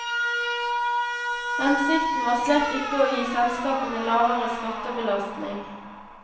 Hensikten var slett ikke å gi selskapene lavere skattebelastning.